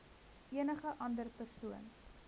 enige ander persoon